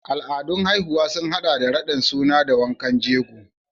Al'adun haihuwa sun haɗa da raɗin suna da wankan jego.